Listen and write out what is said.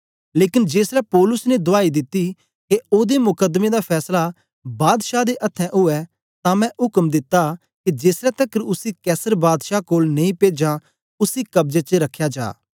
लेकन जेसलै पौलुस ने दुआई दिती के ओदे मुकदमे दा फैसला बादशाह दे अथ्थें ऊऐ तां मैं उक्म दिता के जेसलै तकर उसी कैसर बादशाह कोल नेई पेजां उसी कब्जे च रखया जा